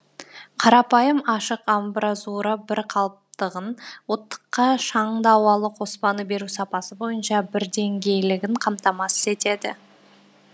қарапайым ашық амбразура бір қалыптығын оттыққа шаңды ауалы қоспаны беру сапасы бойынша бірдеңгейлігін қамтамасыз етеді